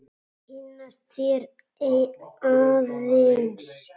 Kynnast þér aðeins.